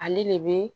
Ale de be